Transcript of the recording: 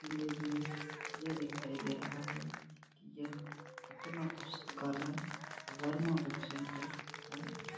Image में यह दिखाई दे रहा है कि यह अपना पुस्तकालय वर्मा बुक सेंटर है।